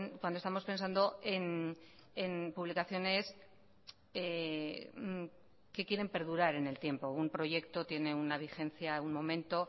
cuando estamos pensando en publicaciones que quieren perdurar en el tiempo un proyecto tiene una vigencia de un momento